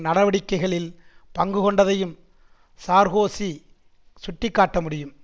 நடவடிக்கைகளில் பங்கு கொண்டதையும் சார்கோசி சுட்டிக்காட்ட முடியும்